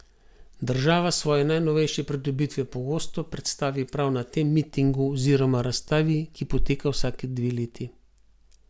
Država svoje najnovejše pridobitve pogosto predstavi prav na tem mitingu oziroma razstavi, ki poteka vsaki dve leti.